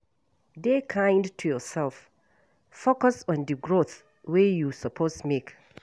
Dey kind to yourself, focus on di growth wey you suppose make